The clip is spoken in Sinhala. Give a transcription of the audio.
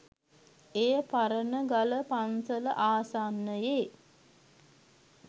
එය පරණගල පන්සල ආසන්නයේ